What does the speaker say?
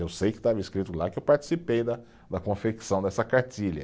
Eu sei que estava escrito lá que eu participei da, da confecção dessa cartilha.